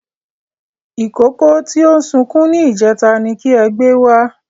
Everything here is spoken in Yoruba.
Ìkókó tí ó sunkún ní ìjẹta ni kí ẹ gbé wá